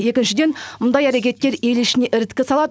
екіншіден мұндай әрекеттер ел ішінде іріткі салады